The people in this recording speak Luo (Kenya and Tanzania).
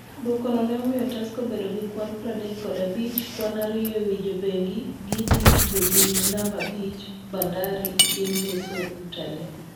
Duokono ne omiyo Tusker bedo gi kwan pradek kod abich , kwan ariyo ewi jobengi , gi thi tugo gi namba abich Bandari chieng ngeso Utalii